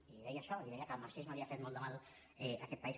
i deia això i deia que el marxisme havia fet molt de mal a aquest país